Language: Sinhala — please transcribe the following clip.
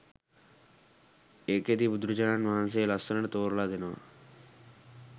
ඒකෙදි බුදුරජාණන් වහන්සේ ලස්සනට තෝරලා දෙනවා